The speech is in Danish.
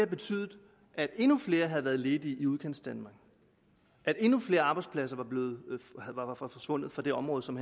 betydet at endnu flere havde været ledige i udkantsdanmark at endnu flere arbejdspladser var forsvundet fra det område som